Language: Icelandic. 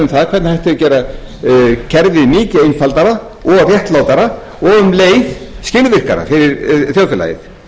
um það hvernig hægt er að gera kerfið mikið einfaldara og réttlátara og um leið skilvirkara fyrir þjóðfélagið